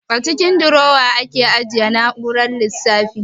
A cikin durowa ake ajiye na'urar lissafi